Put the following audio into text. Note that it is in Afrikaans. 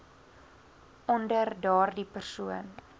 onder daardie persoon